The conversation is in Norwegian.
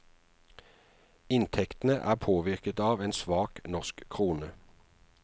Inntektene er påvirket av en svak norsk krone.